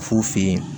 F'u fe yen